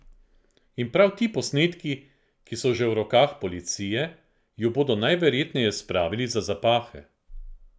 In prav ti posnetki, ki so že v rokah policije, ju bodo najverjetneje spravili za zapahe.